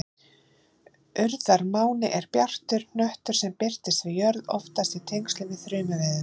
Urðarmáni er bjartur hnöttur sem birtist við jörð, oftast í tengslum við þrumuveður.